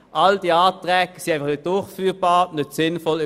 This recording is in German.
All diese Planungserklärungen sind nicht umsetzbar und nicht sinnvoll.